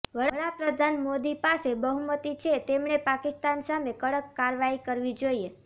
વડા પ્રધાન મોદી પાસે બહુમતી છે તેમણે પાકિસ્તાન સામે કડક કારવાઇ કરવી જોઇએ